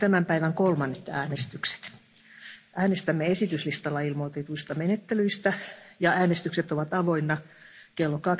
Avaan nyt tämän päivän kolmannet äänestykset. Äänestämme esityslistalla ilmoitetuista menettelyistä, ja äänestykset ovat avoinna klo